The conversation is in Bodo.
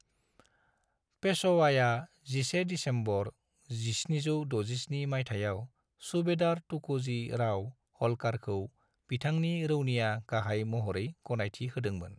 पेशवाआ 11 दिसेम्बर 1767 माइथायाव सुबेदार तुक'जी राव हल्कारखौ बिथांनि रौनिया गाहाय महरै गनायथि होदोंमोन।